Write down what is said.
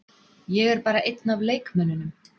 Ég er bara einn af leikmönnunum.